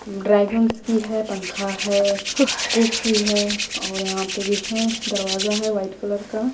Dragons की है पंखा है कुक की है और यहाँ पे भी है दरवाज़ा है वाइट कलर का।